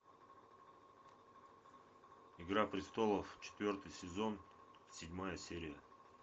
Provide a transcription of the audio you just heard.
игра престолов четвертый сезон седьмая серия